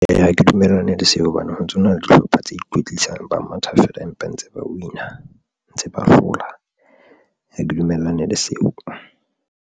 Ha ke dumellane le seo hobane ho ntsona le dihlopha tse ikwetlisang ba matha feela, empa ntse ba win-a ntse ba hlola ha ke dumellane le seo.